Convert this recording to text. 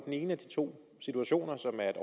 ene af de to situationer